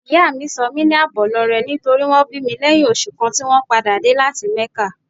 Ìyá mi sọ mí ní Àbọ̀lọrẹ nítorí wón bí mi lẹ́yìn oṣù kan tí wón padà dé láti Mẹ́kà.